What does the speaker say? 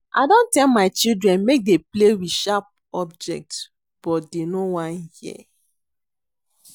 I don tell my children make dey play with sharp object but dey no wan hear